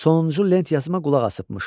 Sonuncu lent yazıma qulaqasıbmış.